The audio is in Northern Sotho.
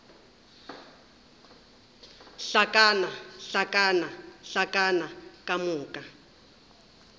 hlakana hlakana hlakana ka moka